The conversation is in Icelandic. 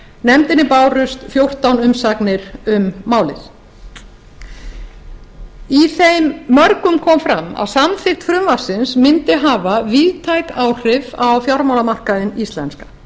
nefndinni bárust fjórtán umsagnir um málið í þeim mörgum kom fram að samþykkt frumvarpsins mundi hafa víðtæk áhrif á fjármálamarkaðinn íslenska